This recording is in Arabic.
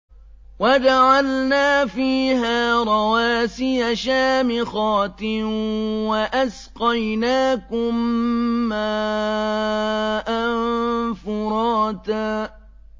وَجَعَلْنَا فِيهَا رَوَاسِيَ شَامِخَاتٍ وَأَسْقَيْنَاكُم مَّاءً فُرَاتًا